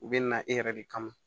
U bɛ na e yɛrɛ de kama